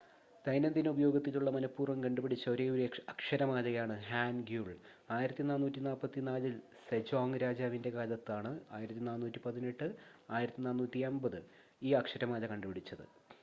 ദൈനംദിന ഉപയോഗത്തിലുള്ള മനഃപൂർവ്വം കണ്ടുപിടിച്ച ഒരേയൊരു അക്ഷരമാലയാണ് ഹാൻഗ്യുൾ. 1444-ൽ സെജോങ് രാജാവിന്റെ കാലത്താണ് 1418 -1450 ഈ അക്ഷരമാല കണ്ടുപിടിച്ചത്